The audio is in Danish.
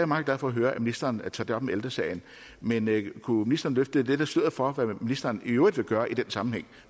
meget glad for at høre at ministeren tager det op med ældre sagen men kunne ministeren løfte lidt af sløret for hvad ministeren i øvrigt vil gøre i den sammenhæng